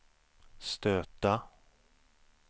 stöta